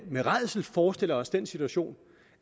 med rædsel forestiller os den situation